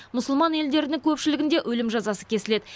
мұсылман елдерінің көпшілігінде өлім жазасы кесіледі